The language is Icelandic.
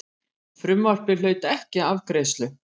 Frumvarpið hlaut ekki afgreiðslu.